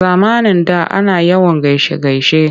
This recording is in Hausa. A zamanin da ana yawan gaishe-gaishe.